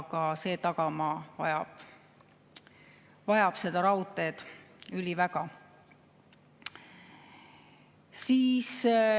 Ka see tagamaa vajab raudteed üliväga.